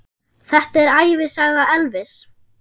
Þetta er ævisaga Elvis!